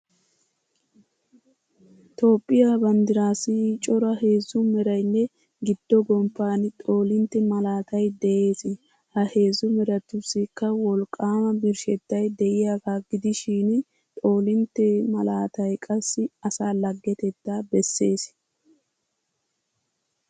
Toophphiya banddiraassi cora heezzu meraynne giddo gomppan xoolintte malaatay de'ees. Ha heezzu meratussikka wolqqaama birshshettay diyagaa gidishin xoolintte malaatay qassi asaa laggetettaa bessees.